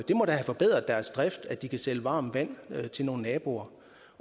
det må da have forbedret deres drift at de kan sælge varmt vand til nogle naboer